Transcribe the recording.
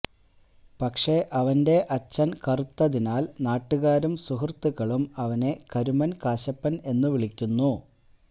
പക്ഷെ അവന്റെ അച്ഛന് കറുത്തതിനാല് നാട്ടുകാരും സുഹൃത്തുക്കളും അവനെ കരുമന് കാശപ്പന് എന്ന് വിളിക്കുന്നു